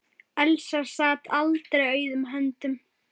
Elsa sat aldrei auðum höndum.